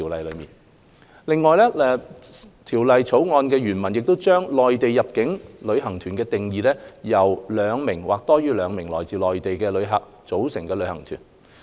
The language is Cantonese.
另外，《條例草案》原文將內地入境旅行團定義為由兩名或多於兩名來自內地的旅客組成的旅行團。